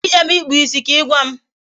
Ị jebe ịkpụ isi ka Ị gwa m